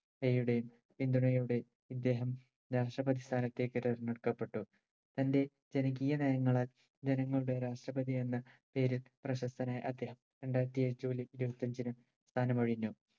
യുടെയും പിന്തുണയോടെയും ഇദ്ദേഹം രാഷ്‌ട്രപതി സ്ഥാനത്തേക്ക് തെരഞ്ഞെടുക്കപ്പട്ടു തന്റെ ജനകീയ നയങ്ങളാൽ ജനങ്ങളുടെ രാഷ്ട്രപതിയെന്ന പേരിൽ പ്രശസ്തനായ അദ്ദേഹം രണ്ടായിരത്തേഴ് ജൂലൈ ഇരുപത്തിയഞ്ചിന് സ്ഥാനമൊഴിഞ്ഞു